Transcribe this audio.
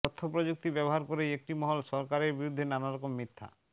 তথ্যপ্রযুক্তি ব্যবহার করেই একটি মহল সরকারের বিরুদ্ধে নানারকম মিথ্যা